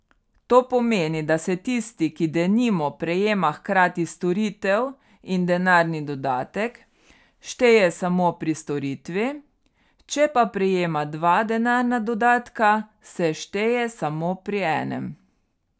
To pomeni, da se tisti, ki denimo prejema hkrati storitev in denarni dodatek, šteje samo pri storitvi, če pa prejema dva denarna dodatka, se šteje samo pri enem.